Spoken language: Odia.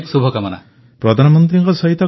ପ୍ରଧାନମନ୍ତ୍ରୀ ଆପଣଙ୍କ ସହ କଥା ହୋଇ ବହୁତ ଖୁସି ଲାଗିଲା